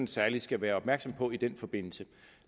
særlig skal være opmærksom på i den forbindelse